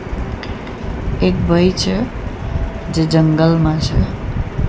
એક ભઈ છે જે જંગલમાં છે.